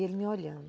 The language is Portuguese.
E ele me olhando.